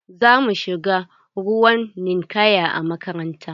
Za mu shiga ruwan ninkaya a makaranta.